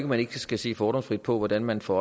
man ikke skal se fordomsfrit på hvordan man får